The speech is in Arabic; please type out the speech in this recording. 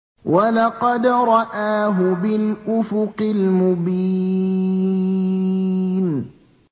وَلَقَدْ رَآهُ بِالْأُفُقِ الْمُبِينِ